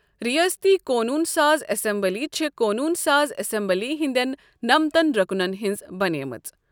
رِیٲستی قونوٗن ساز اَسمبلی چھےٚ قونوٗن ساز اسمبلی ہِنٛدٮ۪ن نمتَن رُکنن ہِنٛز بَنیمٕژ۔